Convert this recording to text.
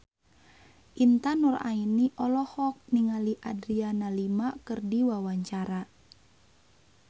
Intan Nuraini olohok ningali Adriana Lima keur diwawancara